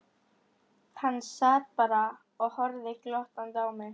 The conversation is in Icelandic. Hann sat bara og horfði glottandi á mig.